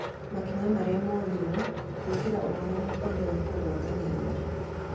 Makinya marĩa moirwo gwĩkĩra ũhoro mũkonde wa kũgwatania nĩ marĩkũ?